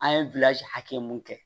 An ye hakɛ mun kɛ